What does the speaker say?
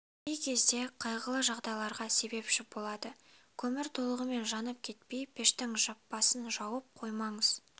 кей кезде қайғылы жағдайларға себепші болады көмір толығымен жанып кетпей пештің жаппасын жауып қоймаңыз